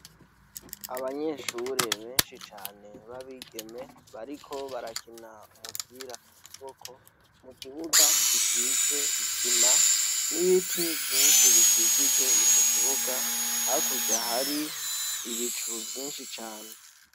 Abanyeshure benshi cane b' abigeme, bariko barakina umupira w' amaboko, mukibuga gisize isima n' ibiti vyinshi bikikije ico kibuga, hakurya hari ibicu vyinshi cane.